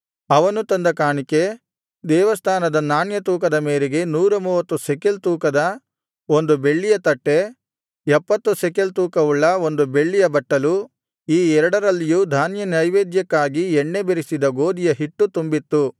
ಅವನು ತಂದ ಕಾಣಿಕೆ ದೇವಸ್ಥಾನದ ನಾಣ್ಯ ತೂಕದ ಮೇರೆಗೆ ನೂರ ಮೂವತ್ತು ಶೆಕೆಲ್ ತೂಕದ ಬೆಳ್ಳಿಯ ಒಂದು ತಟ್ಟೆ ಎಪ್ಪತ್ತು ಶೆಕೆಲ್ ತೂಕವುಳ್ಳ ಬೆಳ್ಳಿಯ ಒಂದು ಬಟ್ಟಲು ಈ ಎರಡರಲ್ಲಿಯೂ ಧಾನ್ಯನೈವೇದ್ಯಕ್ಕಾಗಿ ಎಣ್ಣೆ ಬೆರಸಿದ ಗೋದಿಯ ಹಿಟ್ಟು ತುಂಬಿತ್ತು